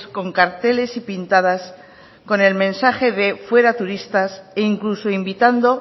con carteles y pintadas con el mensaje de fuera turistas e incluso invitando